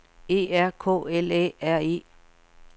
E R K L Æ R E